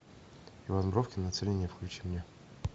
иван бровкин на целине включи мне